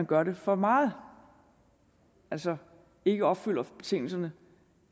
gør det for meget altså ikke opfylder betingelserne